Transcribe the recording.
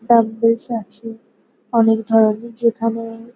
dumbbells আছে অনেক ধরনের যেখানে --